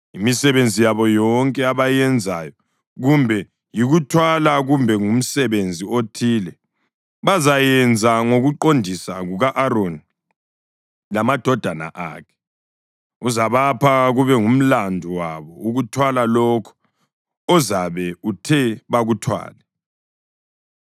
Imisebenzi yabo yonke abayenzayo, kumbe yikuthwala kumbe ngumsebenzi othile, bazayenza ngokuqondisa kuka-Aroni lamadodana akhe. Uzabapha kube ngumlandu wabo ukuthwala lokho ozabe uthe bakuthwale.